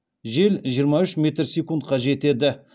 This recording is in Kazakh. жел жиырма үш метр секундқа жетеді